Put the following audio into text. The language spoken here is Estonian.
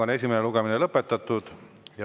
Esimene lugemine on lõpetatud.